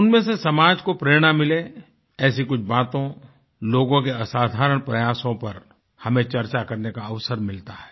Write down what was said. उनमें से समाज को प्रेरणा मिले ऐसी कुछ बातों लोगों के असाधारण प्रयासों पर हमें चर्चा करने का अवसर मिलता है